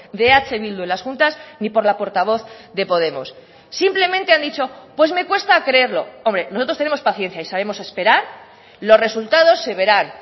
de eh bildu en las juntas ni por la portavoz de podemos simplemente han dicho pues me cuesta creerlo hombre nosotros tenemos paciencia y sabemos esperar los resultados se verán